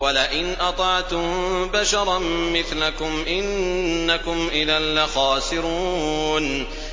وَلَئِنْ أَطَعْتُم بَشَرًا مِّثْلَكُمْ إِنَّكُمْ إِذًا لَّخَاسِرُونَ